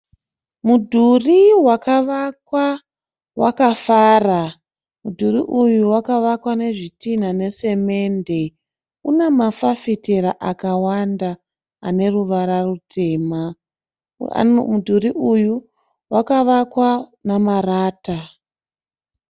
Mudhuri wakavakwa wakafara. Mudhuri uyu wakavakwa nezvitinha nesemende une mafafitera akawanda ane ruvara rutema. Mudhuri uyu wakavakwa namarata.